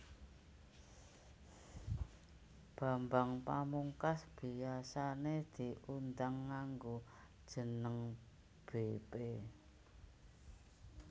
Bambang Pamungkas biasané diundang nganggo jeneng bépé